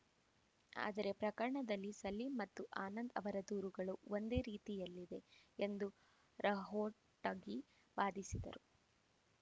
ಆದರೆ ಪ್ರಕರಣದಲ್ಲಿ ಸಲೀಂ ಮತ್ತು ಆನಂದ್‌ ಅವರ ದೂರುಗಳು ಒಂದೇ ರೀತಿಯಲ್ಲಿದೆ ಎಂದು ರಹೋಟಗಿ ವಾದಿಸಿದರು